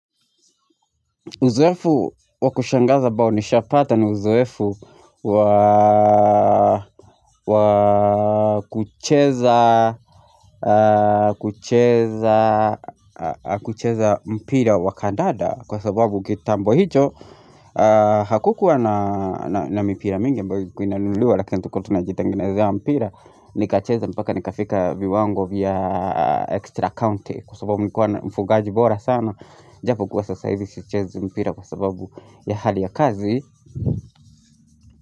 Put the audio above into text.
Nishapatwa na uzoefu wa kucheza mpira wa kandanda Kwa sababu kitambo hicho hakukuwa na mipira mingi ambayo ilikuwa inanuliwa lakini tulikiwa tunajitengenezea mpira Nikacheza mpaka nikafika viwango vya extra county Kwa sababu nilikuwa mfungaji bora sana ijapokuwa sasa hivi sichezi mpira kwa sababu ya hali ya kazi.